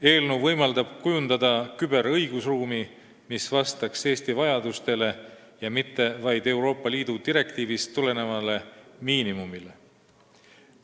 Eelnõu võimaldab kujundada küberõigusruumi, mis vastaks Eesti vajadustele ja mitte ainult Euroopa Liidu direktiivist tulenevale miinimumile.